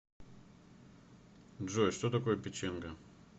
джой что такое печенга